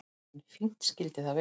En fínt skyldi það vera!